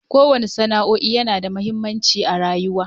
Koyan sana'o'in yana da mahimmanci a rayuwa.